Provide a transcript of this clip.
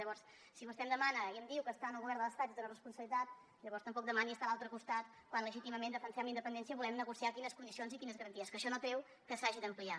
llavors si vostè em demana i em diu que està en el govern de l’estat i té una responsabilitat llavors tampoc demani estar a l’altre costat quan legítimament defensem la independència i volem negociar quines condicions i quines garanties que això no treu que s’hagi d’ampliar